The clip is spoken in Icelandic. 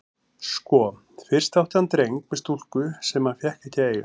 Sko, fyrst átti hann dreng með stúlku sem hann fékk ekki að eiga.